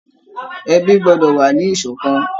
Ẹbí gbọ́dọ̀ wà ní ìṣọ̀kan